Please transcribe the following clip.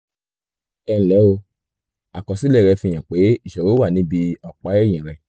ẹnlẹ́ o àkọsílẹ̀ rẹ fi hàn pé ìṣòro wà níbi ọ̀pá ẹ̀yìn rẹ